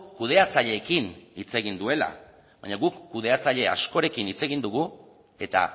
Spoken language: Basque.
kudeatzaileekin hitz egin duela baina guk kudeatzaile askorekin hitz egin dugu eta